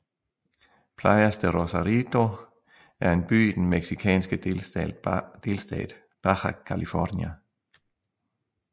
Playas de Rosarito er en by i den mexicanske delstat Baja California